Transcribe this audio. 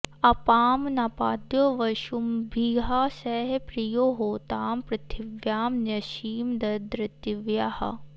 अ॒पां नपा॒द्यो वसु॑भिः स॒ह प्रि॒यो होता॑ पृथि॒व्यां न्यसी॑ददृ॒त्वियः॑